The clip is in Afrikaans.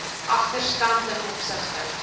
agterstand ten opsigte